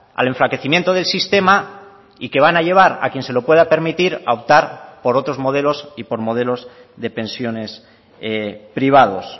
al enflaquecimiento del sistema y que van a llevar a quien se lo pueda permitir a optar por otros modelos y por modelos de pensiones privados